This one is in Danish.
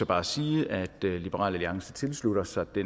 bare sige at liberal alliance tilslutter sig det